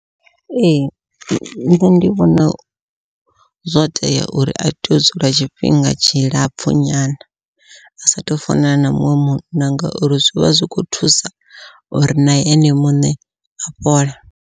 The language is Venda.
Ee nṋe ndi vhona zwo tea uri a tea u dzula tshifhinga tshilapfhu nyana, a sathu funana na muṅwe munna ngauri zwivha zwikho thusa uri na ene muṋe a fhole.